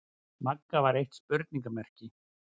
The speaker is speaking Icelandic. Magga var eitt spurningarmerki.